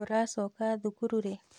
Mũracoka thukuru rĩ?